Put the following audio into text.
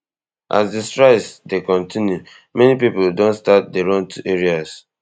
as di strikes dey kontinu many pipo don start dey run to areas